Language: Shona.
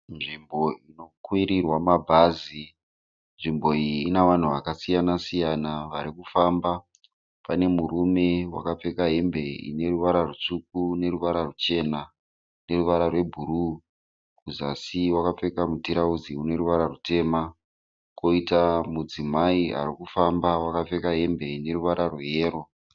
Nzvimbo inokwirirwa mabhazi. Nzvimbo iyi inavanhu vakasiyana-siyana varikufamba. Pane murume wakapfeka hembe ineruvara rutsvuku neruva rwuchena neruvara rwebhuruu, kuzasi wakapfeka mutirauzi uneruvara rutema koita mudzimai arikufamba wakapfeka hembe yeyero.